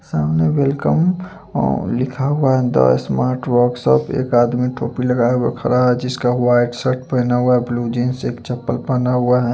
साम ने वेलकम ओ लिखा हुआ है एक आदमी टोपी लगाये हुए खड़ा है जिका हुआ है एक शर्ट पहना हुआ है ब्लू जीन्स एक चापल पहना हुआ है।